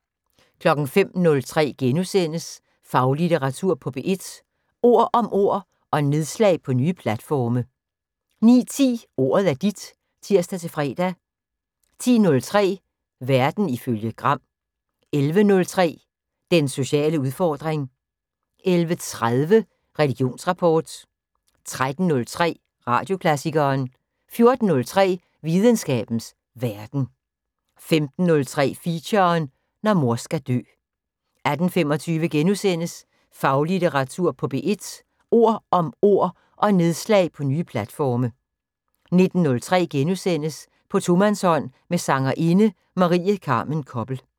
05:03: Faglitteratur på P1: Ord om ord – og nedslag på nye platforme * 09:10: Ordet er dit (tir-fre) 10:03: Verden ifølge Gram 11:03: Den sociale udfordring 11:30: Religionsrapport 13:03: Radioklassikeren 14:03: Videnskabens Verden 15:03: Feature: Når mor skal dø 18:25: Faglitteratur på P1: Ord om ord – og nedslag på nye platforme * 19:03: På tomandshånd med sangerinde Marie Carmen Koppel *